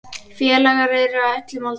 Félagar eru á öllum aldri.